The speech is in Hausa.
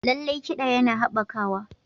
Lallai, kiɗa yana haɓakawa.